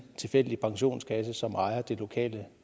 tilfældig pensionskasse som ejer det lokale